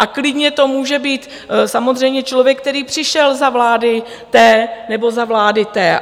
A klidně to může být samozřejmě člověk, který přišel za vlády té nebo za vlády té.